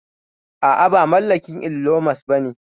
A'a ba mallakin Ilon Mos bane